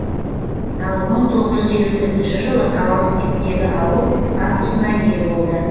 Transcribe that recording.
ал мың тоғыз жүз елу төртінші жылы қалалық типтегі ауыл статусына ие болды